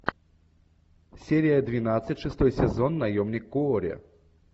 серия двенадцать шестой сезон наемник куорри